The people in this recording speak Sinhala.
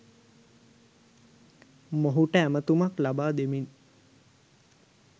මොහුට ඇමතුමක් ලබා දෙමින්